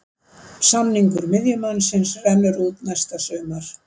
Samningur miðjumannsins rennur út næsta sumar.